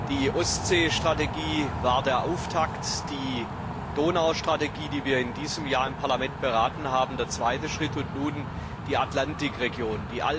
Die Ostsee Strategie war der Auftakt, die Donaustrategie, die wir in diesem Jahr im Parlament erörtert haben, der zweite Schritt und nun folgt die Atlantikregion.